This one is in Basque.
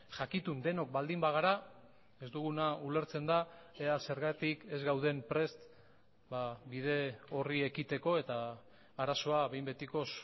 jakitun denok baldin bagara ez duguna ulertzen da ea zergatik ez gauden prest bide horri ekiteko eta arazoa behin betikoz